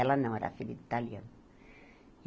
Ela não, era filha de italiano.